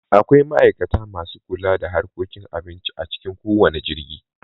Akwai ma'aikata masu kula da harkokin abinci a cikin kowanne jirgi